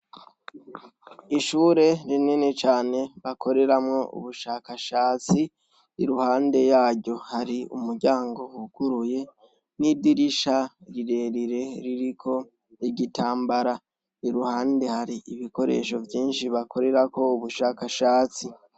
Ishure rinini cane bakoreramwo ubushakashatsi; iruhande yaryo hari umuryango wuguruye n'idirisha rirerire ririko igitambara. Iruhande har'ibikoresho vyinshi bakorerako ubushakashatsi.